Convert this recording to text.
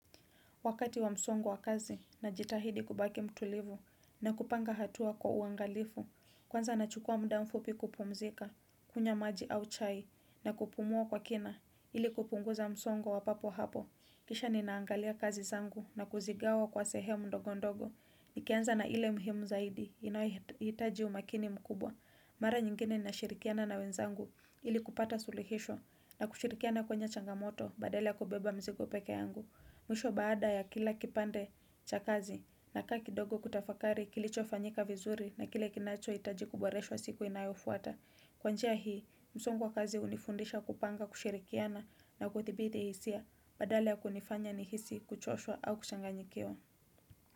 Wakati wa msongo wa kazi najitahidi kubaki mtulivu na kupanga hatua kwa uangalifu. Kwanza nachukua mda mfupi kupumzika, kunywa maji au chai na kupumua kwa kina ili kupunguza msongo wa papo hapo. Kisha ninaangalia kazi zangu na kuzigawa kwa sehemu ndogo ndogo. Nikianza na ile muhimu zaidi inayohitaji umakini mkubwa. Mara nyingine nashirikiana na wenzangu ili kupata suluhisho na kushirikiana kwenye changamoto badala ya kubeba mzigo peke yangu. Mwisho baada ya kila kipande cha kazi nakaa kidogo kutafakari kilichofanyika vizuri na kile kinachohitaji kuboreshwa siku inayofuata. Kwa njia hii, msongo wa kazi hunifundisha kupanga, kushirikiana na kuthibiti hisia badala ya kunifanya nihisi kuchoshwa au kuchanganyikiwa.